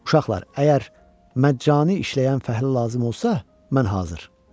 Uşaqlar, əgər məccani işləyən fəhlə lazım olsa, mən hazır.